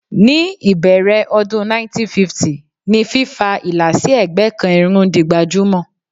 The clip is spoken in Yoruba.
Ní ìbẹ̀rẹ̀ ọdún 1950 ni fífa ìlà sí ẹ̀gbẹ́ kan irun di gbajúmọ̀.